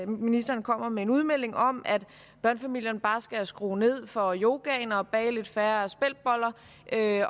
ministeren kommer med en udmelding om at børnefamilierne bare skal skrue ned for yogaen og bage lidt færre speltboller